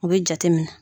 O bɛ jate minɛ